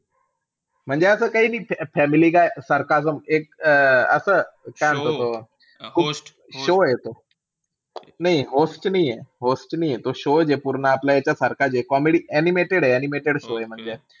म्हणजे असं काई नई फॅमिली गाय सारखं असं एक असं अं show आहे त तो. नाई host नाहीये, host नाहीये. तो show च पूर्ण आपल्या याच्यासारखा comedy animated animated show आहे म्हणजे.